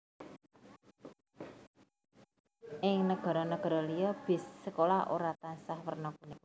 Ing nagara nagara liya bis sekolah ora tansah werna kuning